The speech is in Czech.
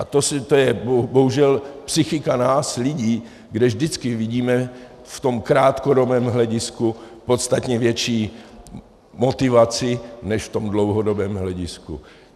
A to je bohužel psychika nás lidí, kde vždycky vidíme v tom krátkodobém hledisku podstatně větší motivaci než v tom dlouhodobém hledisku.